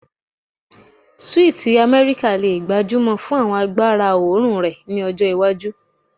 Sweeti Amẹrika le gbajúmọ̀ fún àwọn agbára oòrùn rẹ ni ọjọ iwaju